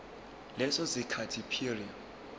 leso sikhathi prior